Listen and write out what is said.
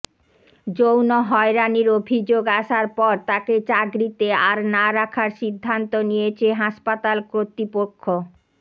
যৌন হয়রানির অভিযোগ আসার পর তাকে চাকরিতে আর না রাখার সিদ্ধান্ত নিয়েছে হাসপাতাল কর্তৃপক্ষ